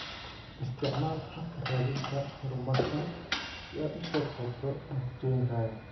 Isticmaal habka raadinta horumarsan si aad u soo koobto natiijooyinkaaga.